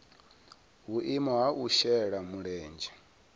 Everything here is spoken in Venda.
vhuimo ha u shela mulenzhe